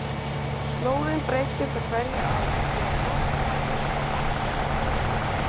Slóðin breyttist á hverju ári því að botnlagið var alltaf á hreyfingu.